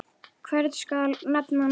Hvern skal nefna næst?